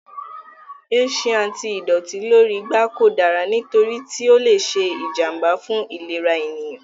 Ẹṣin àti ìdọ̀tí lórí igbá kò dára nítorí tí ó lè ṣe ìjànbá fún ìlera ènìyàn.